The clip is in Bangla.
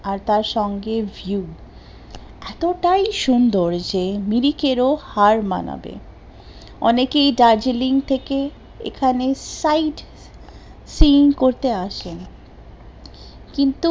আর তার সঙ্গে view, এতো তাই সুন্দর যে নীরিখেরও হার মানাবে, অনেকেই দার্জেলিং থেকে এখানে site seen করতে আসেন, কিন্তু